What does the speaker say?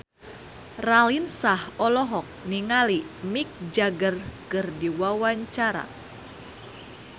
Raline Shah olohok ningali Mick Jagger keur diwawancara